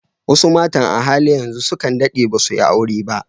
Wasu matan a halin yanzu sukan daɗe dasu yi aure ba.